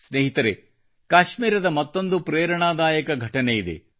ಸ್ನೇಹಿತರೆ ಕಾಶ್ಮೀರದ ಮತ್ತೊಂದು ಪ್ರೇರಣಾದಾಯಕ ಘಟನೆಯಿದೆ